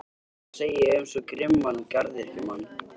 Hvað á að segja um svo grimman garðyrkjumann?